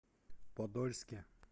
подольске